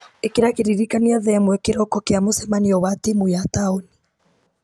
ĩkĩra kĩririkania thaa ĩmwe kĩroko kĩa mũcemanio wa timũ ya taũni